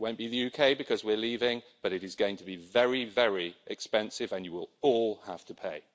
It won't be the UK, because we're leaving, but it is going to be very, very expensive and you will all have to pay.